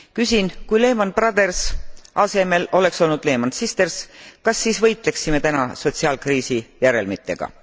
Küsin, kui Lehman Brothers asemel oleks olnud Lehman Sisters, kas siis võitleksime täna sotsiaalkriisi järelmitega.